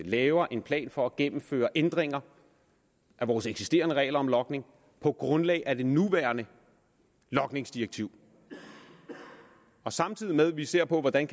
laver en plan for at gennemføre ændringer af vores eksisterende regler om logning på grundlag af det nuværende logningsdirektiv samtidig med at vi ser på hvordan